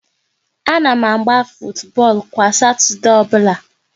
A na m agba futubọọlụ kwa Satọdee ọbụla